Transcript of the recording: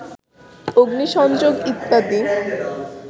অগ্নিসংযোগ ইত্যাদি